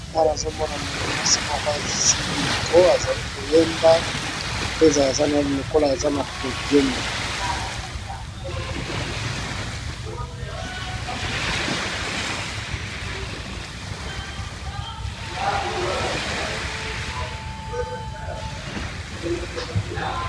Awa namoni mwasi moko asimbi micro azoyemba likoya aza na podium.